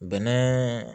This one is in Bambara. Bɛnɛ